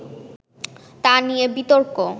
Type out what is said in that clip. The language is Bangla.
তা নিয়ে বিতর্ক